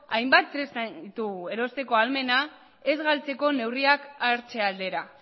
hainbat tresna ditugu erostekoa ahalmena ez galtzeko neurriak hartze aldera